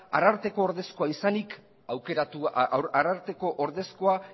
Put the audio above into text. ararteko ordezkoa izanik ararteko ordezkoa